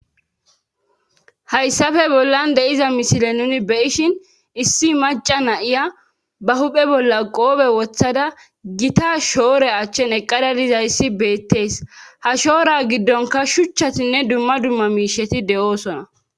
Hayssafe bollan deiza misile nuni be ishin issi maca na'iya ba huphe bolla qoobe wothada gita shoore achchen eqqadadiza issi beettees ha shoora giddonka shuchchatinne dumma dumma miisheti de'oosona.